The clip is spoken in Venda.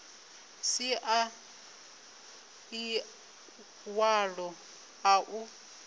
si na ḽiṅwalo ḽa u